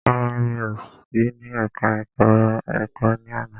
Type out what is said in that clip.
Rárá, mi ò sí ní ẹka ẹ̀kọ́ ẹ̀kọ́ ní àná.